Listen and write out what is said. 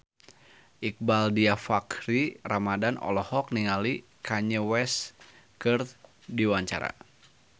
Iqbaal Dhiafakhri Ramadhan olohok ningali Kanye West keur diwawancara